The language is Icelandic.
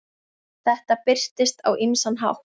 Þetta birtist á ýmsan hátt.